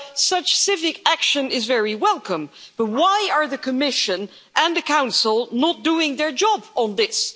Such civic action is very welcome, but why are the Commission and the Council not doing their job on this?